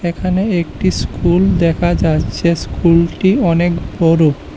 এখানে একটি স্কুল দেখা যাচ্ছে স্কুলটি অনেক বড়।